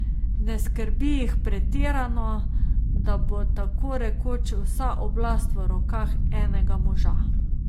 Ne skrbi jih pretirano, da bo tako rekoč vsa oblast v rokah enega moža.